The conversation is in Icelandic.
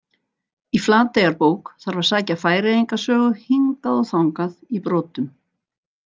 Í Flateyjarbók þarf að sækja Færeyinga sögu hingað og þangað í brotum.